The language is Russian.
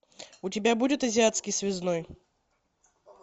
у тебя будет азиатский связной